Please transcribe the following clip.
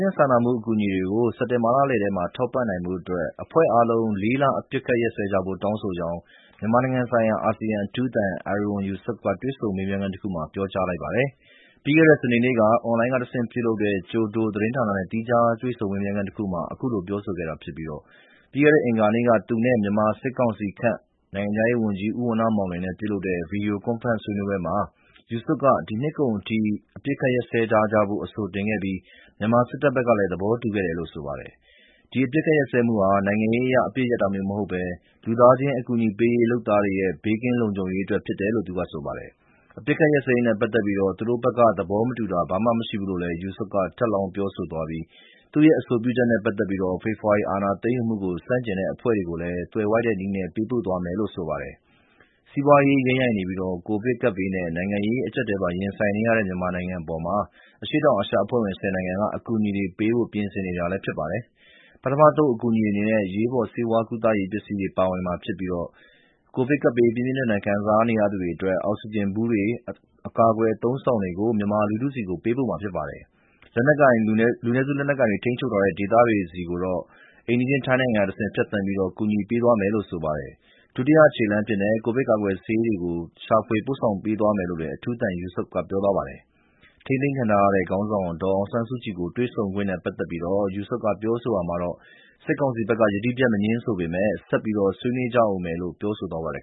ချင်းစာနာမှု အကူအညီတွေ စက်တင်ဘာလလယ်ထဲ ထောက်ပံ့နိုင်ဖို့ အဖွဲ့အားလုံး ၄ လ အပစ်အခတ်ရပ်စဲကြဖို့ တောင်းဆိုကြောင်း မြန်မာနိုင်ငံဆိုင်ရာ အာဆီယံအထူးသံ Erywan Yusof က တွေ့ဆုံမေးမြန်းခန်းတခုမှာ ပြောကြားလိုက်ပါတယ်။ ပြီးခဲ့တဲ့ စနေနေ့က အွန်လိုင်းကတဆင့် ပြုလုပ်တဲ့ ကျိုဒိုသတင်းဌာနရဲ့ သီးခြားတွေ့ဆုံ မေးမြန်းခန်းတခုမှာ အခုလို ပြောဆိုခဲ့တာဖြစ်ပြီး ပြီးခဲ့တဲ့ အင်္ဂါနေ့က သူနဲ့ မြန်မာစစ်ကောင်စီခန့် နိုင်ငံခြားရေးဝန်ကြီး ဦးဝဏ္ဏမောင်လွင်နဲ့ ပြုလုပ်ခဲ့တဲ့ Video Conference ဆွေးနွေးပွဲအတွင်း Yusof က ဒီနှစ်ကုန်အထိ အပစ်အခတ် ရပ်စဲထားကြဖို့ အဆိုတင်ခဲ့ပြီး မြန်မာစစ်တပ်ဘက်ကလည်း သဘောတူခဲ့တယ်လို့ ဆိုပါတယ်။ ဒီအပစ်အခတ်ရပ်စဲမှုဟာ နိုင်ငံရေးအရ အပစ်ရပ်တာမျိုးမဟုတ်ဘဲ လူသားချင်း အကူအညီပေးရေး လုပ်သားတွေရဲ့ ဘေးကင်းလုံခြုံရေးအတွက် ဖြစ်တယ်လို့ သူကဆိုပါတယ်။ အပစ်အခတ်ရပ်စဲရေးနဲ့ ပတ်သက်ပြီး သူတို့ဘက်က သဘောမတူတာ ဘာမှမရှိဘူးလို့လည်း Yusof က ထပ်လောင်းပြောဆိုသွားပြီး သူ့ရဲ့ အဆိုပြုချက်နဲ့ ပတ်သက်ပြီး ဖေဖော်ဝါရီ အာဏာသိမ်းယူမှုကို ဆန့်ကျင်တဲ့ အဖွဲ့တွေကိုလည်း သွယ်ဝိုက်တဲ့နည်းနဲ့ပေးပို့သွားမယ်လို့ ဆိုပါတယ်။ စီးပွားရေး ယိမ်းယိုင်နေပြီး ကိုဗစ်ကပ်ဘေးနဲ့ နိုင်ငံရေး အကျပ်အတည်းပါ ရင်ဆိုင်နေရတဲ့ မြန်မာနိုင်ငံအပေါ် အရှေ့တောင်အာရှ အဖွဲ့ဝင် ၁၀ နိုင်ငံက အကူအညီတွေပေးဖို့ ပြင်ဆင်နေတာလည်း ဖြစ်ပါတယ်။ ပထမအသုတ် အကူအညီအနေနဲ့ အရေးပေါ် ဆေးဝါးကုသရေး ပစ္စည်းတွေ ပါဝင်မှာဖြစ်ပြီး ကိုဗစ်ရောဂါ ပြင်းပြင်းထန်ထန် ခံစားနေရသူတွေအတွက် အောက်ဆီဂျင်ဘူးတွေ အကာအကွယ် အသုံးအဆောင်တွေကို မြန်မာလူထုဆီကို ပေးပို့မှာဖြစ်ပါတယ်။ လူနည်းစု လက်နက်ကိုင်တွေ ထိန်းချုပ်ထားတဲ့ ဒေသတွေကိုတော့ အိမ်နီးချင်း ထိုင်းနိုင်ငံကတဆင့် ဖြတ်သန်းပြီး ကူညီပေးသွားမယ်လို့ ဆိုပါတယ်။ ဒုတိယခြေလှမ်းအဖြစ်နဲ့ ကိုဗစ်ကာကွယ်ဆေးတွေကို ရှာဖွေ ပို့ဆောင်ပေးသွားမယ်လို့ အထူးသံ Yusof က ပြောသွားပါတယ်။ ထိန်းသိမ်းခံထားရတဲ့ ခေါင်းဆောင် ဒေါ်အောင်ဆန်းစုကြည်နဲ့ တွေ့ဆုံခွင့်နဲ့ ပတ်သက်ပြီးတော့ Yusof က ပြောဆိုရာမှာတော့ စစ်ကောင်စီဘက်က ယတိပြတ် မငြင်းဆိုပေမယ့် ဆက်ပြီး ဆွေးနွေးကြဦးမယ်လို့ပြောဆိုသွားပါတယ်